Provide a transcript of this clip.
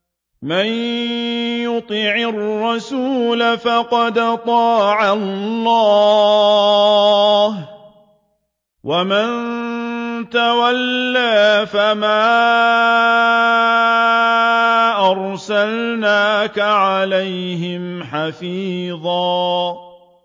مَّن يُطِعِ الرَّسُولَ فَقَدْ أَطَاعَ اللَّهَ ۖ وَمَن تَوَلَّىٰ فَمَا أَرْسَلْنَاكَ عَلَيْهِمْ حَفِيظًا